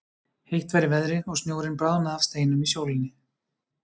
Heitt var í veðri og snjórinn bráðnaði af steinum í sólinni.